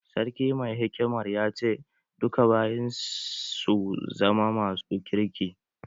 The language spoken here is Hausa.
Sarki mai hikimar ya ce 'Duka bayin su zama masu kirki'!